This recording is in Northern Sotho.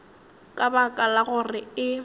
ka baka la gore e